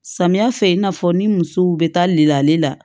Samiya fɛ i n'a fɔ ni musow bɛ taa li la